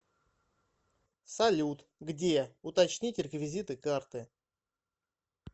салют где уточнить реквизиты карты